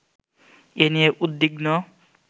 এ নিয়ে উদ্বিগ্ন